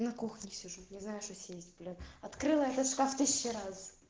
на кухне сижу не знаю что съесть блин открыла этот шкаф тысячу раз